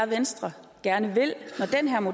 venstre